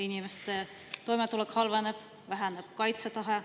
Inimeste toimetulek halveneb, väheneb kaitsetahe.